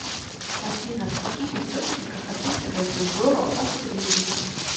афина в каких источниках описывается зороастризм